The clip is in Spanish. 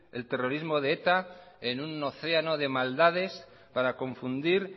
el terrorismo de eta en un océano de maldades para confundir